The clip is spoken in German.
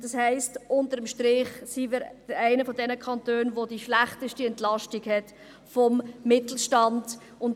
Das heisst unter dem Strich, dass wir einer der Kantone sind, die die schlechteste Entlastung des Mittelstands haben.